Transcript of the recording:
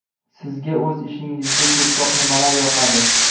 Sizga o‘z ishingizda ko‘proq nimalar yoqadi?